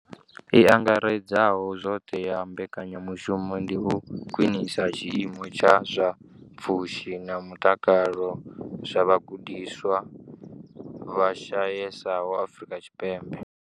I angaredzaho zwoṱhe ya mbekanyamushumo ndi u khwinisa tshiimo tsha zwa pfushi na mutakalo zwa vhagudiswa vha shayesaho Afrika Tshipembe.